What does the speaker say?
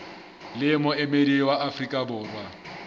le moemedi wa afrika borwa